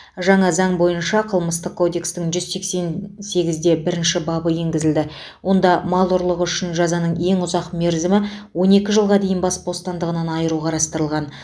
жаңа заң бойынша қылмыстық кодекстің жүз сексен сегізде бірінші бабы енгізіледі онда мал ұрлығы үшін жазаның ең ұзақ мерзімі он екі жылға дейін бас бостандығынан айыру қарастырылған